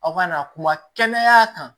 Aw ka na kuma kɛnɛya kan